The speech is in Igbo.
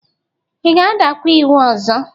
Ị ga-adakwa iwu ọzọ?